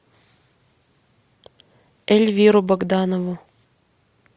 эльвиру богданову